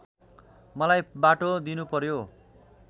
मलाई बाटो दिनुपर्‍यो